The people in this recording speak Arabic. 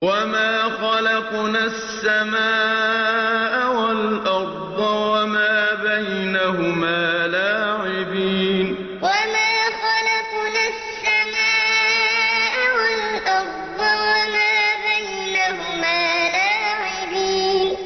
وَمَا خَلَقْنَا السَّمَاءَ وَالْأَرْضَ وَمَا بَيْنَهُمَا لَاعِبِينَ وَمَا خَلَقْنَا السَّمَاءَ وَالْأَرْضَ وَمَا بَيْنَهُمَا لَاعِبِينَ